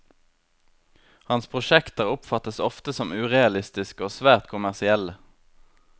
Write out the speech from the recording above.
Hans prosjekter oppfattes ofte som urealistiske og svært kommersielle.